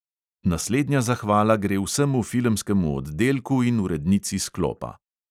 Naslednja zahvala gre vsemu filmskemu oddelku in urednici sklopa!